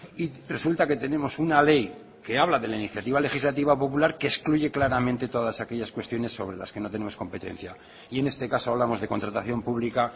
y resulta que tenemos una ley que habla de la iniciativa legislativa popular que excluye claramente todas aquellas cuestiones sobre las que no tenemos competencia y en este caso hablamos de contratación pública